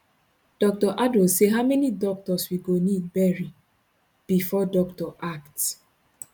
dr adow say how many doctors we go need bury bifor doctor act